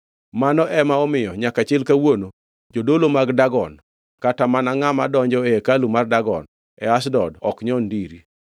Mano ema omiyo nyaka chil kawuono jodolo mag Dagon kata mana ngʼama donjo e hekalu mar Dagon e Ashdod ok nyon ndiri.